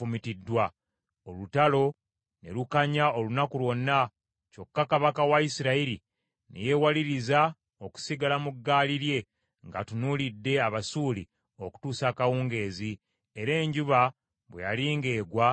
Olutalo ne lukanya olunaku lwonna, kyokka kabaka wa Isirayiri ne yeewaliriza okusigala mu gaali lye ng’atunuulidde Abasuuli okutuusa akawungeezi, era enjuba bwe yali ng’egwa n’afa.